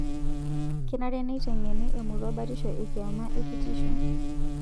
Kenare neiteng'eni emurua batisho ekiama ekitisho